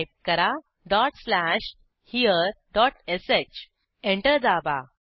type करा dot slash here dot sh enter दाबा